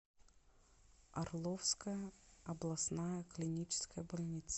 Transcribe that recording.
орловская областная клиническая больница